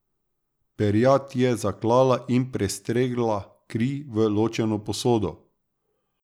Perjad je zaklala in prestregla kri v lončeno posodo.